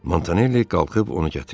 Montanelli qalxıb onu gətirdi.